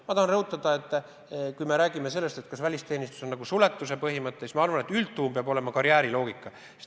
Ma tahan rõhutada, et kui me räägime sellest, kas välisteenistus töötab nagu suletuse põhimõttel, siis ma arvan, et üldjuhul peab kehtima karjääriloogika.